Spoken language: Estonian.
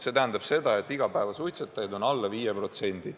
See tähendab seda, et igapäevasuitsetajaid on alla 5%.